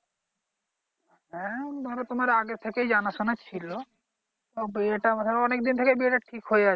হ্যা ধরো তোমার আগে থেকেই জানা শুনা ছিলো তো বিয়েটা হয়ে অনেক দিন থেকে ঠিক হয়ে আছে